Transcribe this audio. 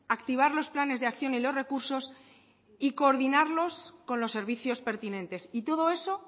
activar los planes de acción y los recursos y coordinarlos con los servicios pertinentes y todo eso